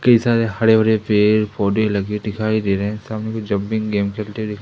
की सारे हरे भरे पेड़ पौधे लगे दिखाई दे रहे हैं सामने कोई जंपिंग गेम खेलते--